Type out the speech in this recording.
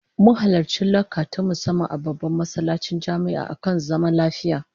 Mun halarci lacca ta musamman a babban masallacin jami'a akan zaman lafiya